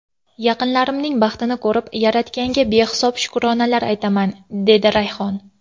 Yaqinlarimning baxtini ko‘rib, Yaratganga behisob shukronalar aytaman”, dedi Rayhon.